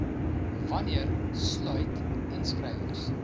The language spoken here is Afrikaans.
wanneer sluit inskrywings